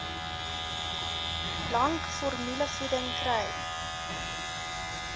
lank formulevoeding kry